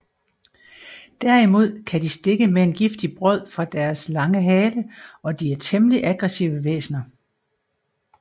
Derimod kan de stikke med en giftig brod fra deres lange hale og de er temmelig aggressive væsner